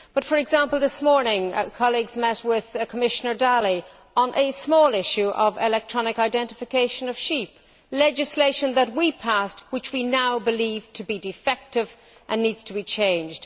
But for example this morning, colleagues met with Commissioner Dalli on a small issue of electronic identification of sheep legislation that we passed which we now believe to be defective and needs to be changed.